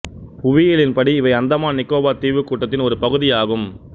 புவியியலின் படி இவை அந்தமான் நிக்கோபார் தீவுக்கூட்டத்தின் ஒரு பகுதியாகும்